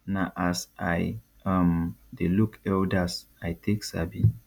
na as i um de look elders i take sabi